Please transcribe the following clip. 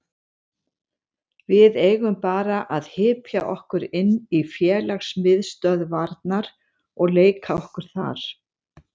Við eigum bara að hypja okkur inn í félagsmiðstöðvarnar og leika okkur þar.